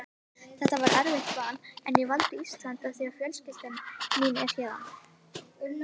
Þetta var erfitt val en ég valdi Ísland af því að fjölskyldan er héðan.